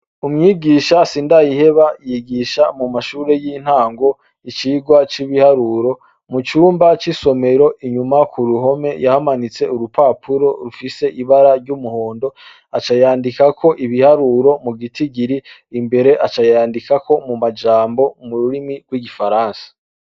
Umwigisha Sindayiheba, yigisha mu mashure y'intango icirwa c'ibiharuro, mu cumba c'isomero inyuma ku ruhome yahamanitse urupapuro rifise ibara ry'umuhondo aca yandikako ibiharuro mu gitigiri, imbere aca yandikako mu majambo mururimi rw,igifaransa.